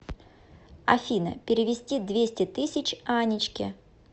афина перевести двести тысяч анечке